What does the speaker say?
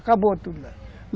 Acabou tudo.